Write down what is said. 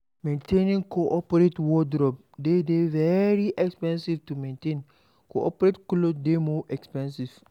Maintaining coperate wordrobe dey de very expensive to maintain, coperate cloth dey more expensive